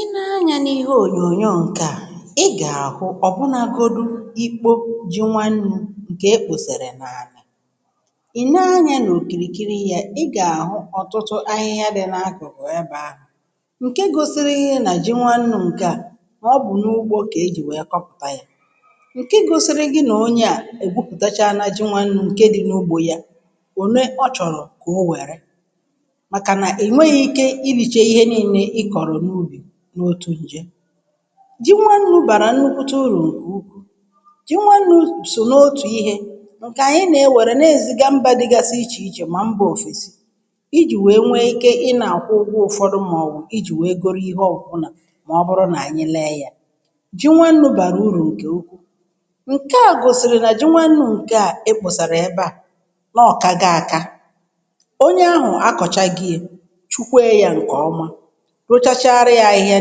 Ị nee anyȧ n’ihe ònyònyo ǹke à, i gà-àhụ ọ̀bụnȧgȯdụ ikpo ji nwannu̇ ǹkè ekposere n’àlà. Ị nee anyȧ n’òkìrìkiri yȧ i gà-àhụ ọ̀tụtụ ahịhịa dị̇ n’akụkụ ebe ahụ̀, ǹke gȯsiri nà ji nwannu̇ ǹke à mà ọ bụ̀ n’ugbȯ kà e jì wèe kọpụ̀ta yȧ, ǹke gȯsiri gị nà onye à ègwupùtachaala ji nwannu̇ ǹke dị n’ugbȯ yȧ, òne ọ chọ̀rọ̀ kà o wèrè maka na inwenghi ike ịrịche ịhe nile i kọ̀rọ̀ n’ubì n’otu ǹjè. Ji nwannu̇ bàrà nnukwute urù, ji nwannu̇ sò n’otù ihe ǹkè ànyị nè-ewère n’èziga mbȧ dịgasị ichè ichè mà mbȧ òfèsi, ijì wèe nwee ike ị nà-àkwụ ụgwọ ụ̀fọdụ màọwụ̀ ijì wèe goro ihe ọbụla, mà ọ bụrụ nà ànyị lee yȧ, ji nwannu̇ bàrà urù ǹkè ukwù ǹkè a gòsìrì nà ji nwannu̇ ǹkè a e kposàrà ebe à, n’ọ̀kà go akȧ, onye ahu akọchago ye, kpuchikwe ye nke ọma, rụchachara yȧ ahịhịa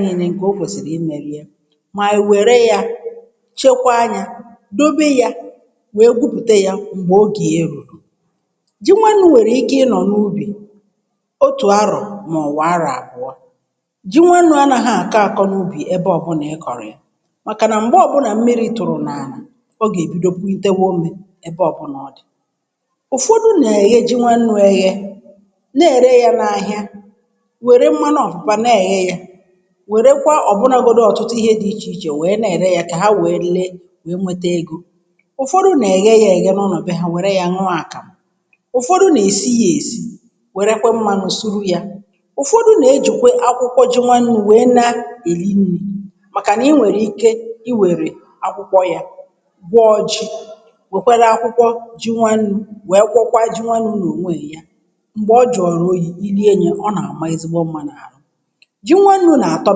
nille ǹkẹ̀ o kwèsìrì imẹ̀ liẹ, mà wère yȧ, chekwaa nyȧ, dobe yȧ wee gwupùte yȧ m̀gbè ogè ya ru̇ru. Ji nwannu̇ wèrè ike ịnọ̀ n’ubì otù arọ̀ mà ọ̀wụ̀ arọ̀ àbụ̀ọ, ji nwannu̇ anaghị àkọ akọ n’ubì ẹbẹ ọbụnà ị kọ̀rọ̀ ya, màkà nà m̀gbẹ ọbụnà mmiri̇ tụ̀rụ̀ n’àlà ọ gà èbido putewe ȯmė ẹbẹ ọbụnà ọ̀ dì, ụ̀fọdụ nà èghe ji nwannụ̇ eghe na-ère yȧ n’ahịa, wère mmanụ opopo na enye ya, were kwa ọ̀bụnȧgodi ọ̀tụtụ ihe dị̇ ichè ichè wèe na-ère yȧ kà ha wère lee wèe nwete egȯ. Ụfọdụ nà-èghe yȧ èghe n’ụlọ̀ be ha wère yȧ ṅụọ àkàmụ ụfọdụ nà-èsi yȧ èsì wère kwa mmanụ suru yȧ ụfọdụ nà-ejùkwe akwụkwọ ji nwannu̇ wèe na-èsi nri̇ màkà nà i nwèrè ike i wèrè akwụkwọ yȧ gwọọ ji̇, wèkwere akwụkwọ ji nwannu̇ wèe gwọkwa ji nwannu̇ nà ònweè nke ye, mgbe ọ jụọrọ oyi, ilie ye, ọ na-ama ezigbo mma na ahụ. Ji nwannu̇ nà-àtọ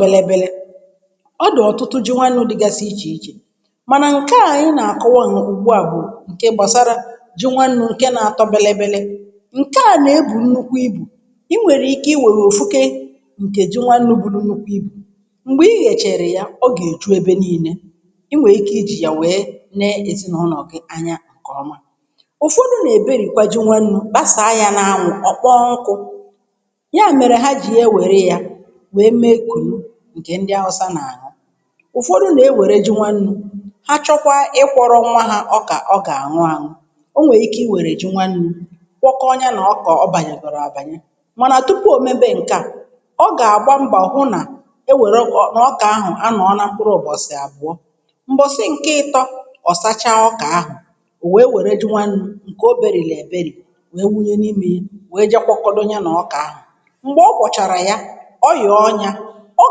belebele, ọ dụ̀ ọ̀tụtụ ji nwannu̇ dịgasị ichè ichè mànà ǹkè a anyi na-àkọwa n’ugbụ a bụ ǹke gbàsara ji nwannu̇ ǹke na-atọ belebele. Nke à nà-ebù nnukwu ibù, i nwèrè ike iwèrè òfu ghee ǹkè ji nwannu̇ buru nnukwu ibù, m̀gbè i ghèchàrà ya ọ gà-èju ebe nii̇nė, i nwèè ike ijì yà wèe neè ezinàụnọ̀ gị anya ǹkè ọma. Ụfụdụ̇ nà-èberìkwa ji nwannu̇ kpasàa ya n’anwụ ọ̀kpọọ nkụ̇ ya mere ha ji e were ya wee mee kùnù, ǹkè ndị awụsa nà-àṅụ. Ụfọdụ nà-ewère ji nwannu̇ ha chọkwaa ịkwọ̇rọ̇ nwa hȧ ọkà ọ gà-àṅụ aṅụ. o nwèrè ike i wèrè ji nwannu̇ kwọkọọ ya nà ọkà ọ bànyèkwere àbànye, mànà tupu ò mebe ǹke à, ọ gà-àgba mbọ hụ nà e wère nà ọkà ahụ̀ anọ̀ọ na mkpụrụ ụbọ̀sị̀ àbọụọ, mbọ̀sị ǹke ịtọ̇, ọ̀sachaa ọkà ahụ̀ wèe wère ji nwannu̇, ǹkè o bèrịrị èbèrị wee wunye n’imė ye, wee jịe kwọkọdụ ya nà ọkà ahụ̀, mgbe ọkwọchara ya, ọ yòọ nyȧ, ọ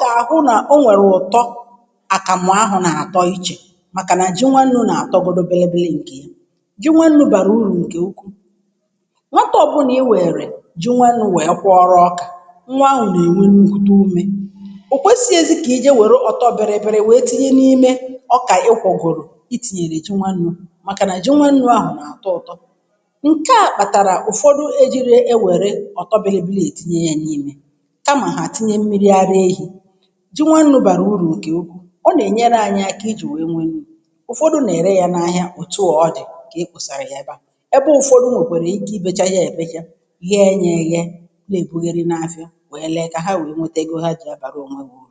gà-àhụ n’o nwèrè ụ̀tọ àkàmụ̀ ahụ̀ nà-àtọ ichè màkà nà ji nwannu̇ nà-àtọgodu bėlė bėlė nkè. Ji nwannu̇ bàrà urù ǹkè ukwuu, nwata ọbụ̇na i̇ wèrè ji nwannu̇ wèe kwọọrụ ọkà, nwa ahụ̀ nà-ènwe n’ùkwute ume, ò kwesi ọzi kà ije wère ọ̀tọ bėlėbėlė wèe tinye n’ime ọkà ị kwọ̀gworù, ị tìnyèrè ji nwannu̇, màkà nà ji nwannu̇ ahụ̀ nà-àtọ ụ̀tọ. Ṅke à kpàtàrà ụ̀fọdụ ejiri e wère ọ̀tọ belebeee etinye ya n’ime, kama ha etinye mmiri ara ehi. Ji nwannu̇ bàrà ụrù ǹkè ukwuu, ọ nè nyere anyȧ kà ị jù nwee nwee ume, ụfọdụ̇ nèrè ya n’ahịa òtù a ọ̀ dị̀, kà e ekposàra yà ebea. Ebe ụfọdụ̇ nwèkwèrè ike ị becha ya èbècha, ghẹẹ nyẹ̇ eyẹ, nà èbughèrì n’afịa, wẹẹ leẹ kà ha wẹ̀ẹ nwẹtẹ egȯ hȧ ji ịbàrà onwe ha uru.